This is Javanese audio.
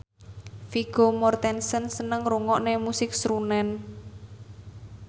Vigo Mortensen seneng ngrungokne musik srunen